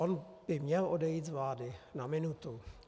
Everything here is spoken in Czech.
On by měl odejít z vlády na minutu.